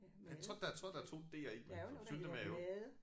Jeg tror der tror der er 2 D'er i men Syltemade